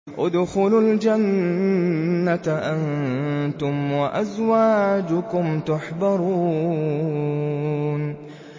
ادْخُلُوا الْجَنَّةَ أَنتُمْ وَأَزْوَاجُكُمْ تُحْبَرُونَ